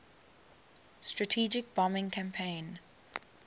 strategic bombing campaign